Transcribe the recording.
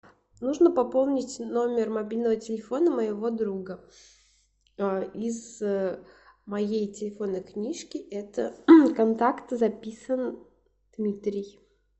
нужно пополнить номер мобильного телефона моего друга из моей телефонной книжки это контакт записан дмитрий